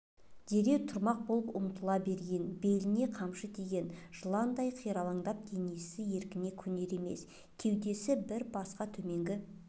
дереу тұрмақ болып ұмтыла берген беліне қамшы тиген жыландай қиралаңдап денесі еркіне көнер емес кеудесі бір басқа төменгі